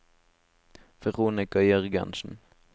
Veronica Jørgensen